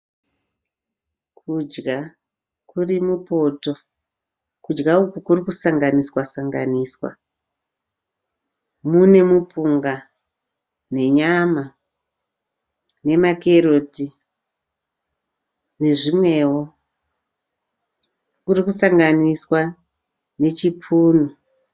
Kudya kurimupoto. Kudya uku kurikusanganiswa-sanganiswa. Mune mupunga nenyama nemakeroti nezvimwewo. Kurikusanganiswa nechipunu.